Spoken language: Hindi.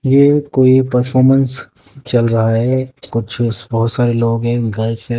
ये कोई परफॉर्मेंस चल रहा है कुछ बहोत सारे लोग हैं गर्ल्स --